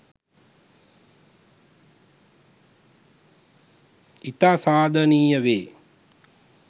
ඉතා සාධනීය වේ